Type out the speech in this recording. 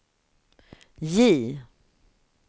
J